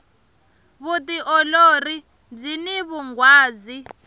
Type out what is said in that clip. vutiolori byini vunghwazi